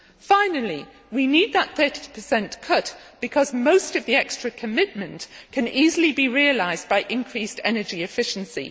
Finally, we need that 30 cut because most of the extra commitment can easily be realised by increased energy efficiency.